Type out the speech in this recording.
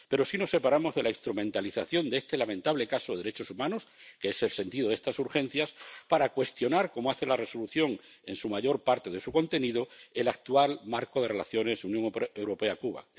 Pero sí nos separamos de la instrumentalización de este lamentable caso de derechos humanos —que es el sentido de estos asuntos de importancia política— para cuestionar como, hace la Resolución en la mayor parte de su contenido, el actual marco de relaciones Unión Europea Cuba.